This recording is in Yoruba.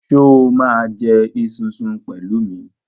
Sọ ma jẹ esunsun pẹ̀lú mi?